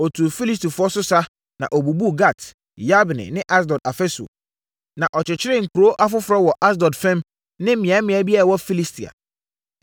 Ɔtuu Filistifoɔ so sa, na ɔbubuu Gat, Yabne ne Asdod afasuo. Na ɔkyekyeree nkuro afoforɔ wɔ Asdod fam ne mmeammea bi a ɛwɔ Filistia.